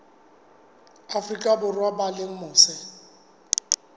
afrika borwa ba leng mose